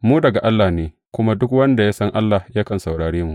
Mu daga Allah ne, kuma duk wanda ya san Allah yakan saurare mu.